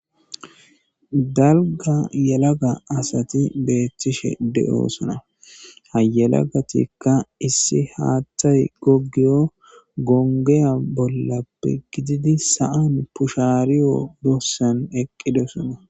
dalga yalaga asati beethtishe de7oosana hayelagatikka issi haaththay gogiyo gongeya bollappe gididi sa7an pushaariyo doossan eqqidosona